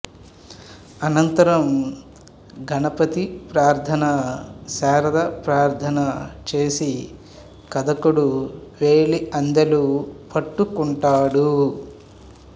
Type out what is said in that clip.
అనంతరం గణపతి ప్రారథన శారద ప్రార్థన చేసి కథకుడు వ్రేలి అందెలు పట్టు కుంటాడు